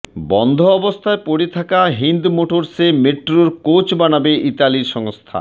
বন্ধ অবস্থায় পড়ে থাকা হিন্দ মোটরসে মেট্রোর কোচ বানাবে ইতালির সংস্থা